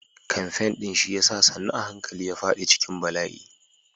Kamfen ɗin siyasa sannu a hankali ya faɗi cikin bala'i.